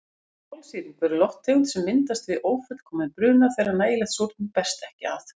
Kolsýrlingur er lofttegund sem myndast við ófullkominn bruna þegar nægilegt súrefni berst ekki að.